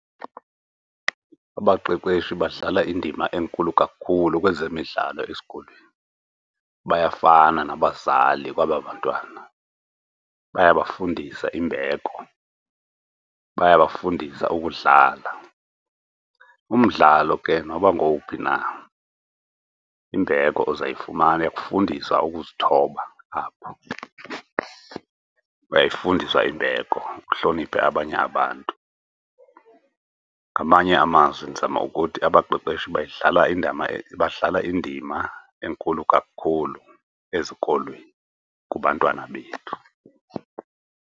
Abaqeqeshi badlala indima enkulu kakhulu kwezemidlalo esikolweni bayafana nabazali kwaba bantwana. Bayabafundisa imbeko, bayabafundisa ukudlala, umdlalo ke noba ngowuphi na imbeko uzawuyifumana. Ikufundisa ukuzithoba apho, uzayifundiswa imbeko, uhloniphe abanye abantu. Ngamanye amazwi ndizama ukuthi abaqeqeshi bayidlala badlala indima enkulu kakhulu ezikolweni kubantwana bethu.